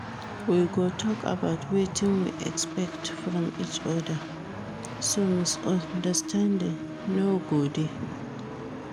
We go tok about wetin we expect from each oda, so misunderstanding no go dey.